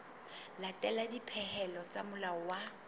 latela dipehelo tsa molao wa